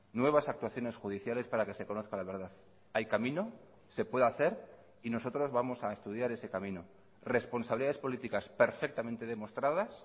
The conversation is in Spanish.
nuevas actuaciones judiciales para que se conozca la verdad hay camino se puede hacer y nosotros vamos a estudiar ese camino responsabilidades políticas perfectamente demostradas